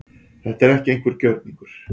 Þetta er ekki einhver gjörningur